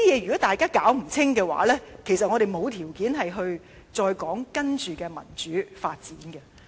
如果大家弄不清楚這些的話，其實我們並無條件再討論接着的民主發展。